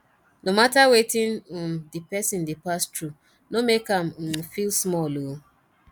no mata wetin um di person dey pass thru no mek am um feel small ooo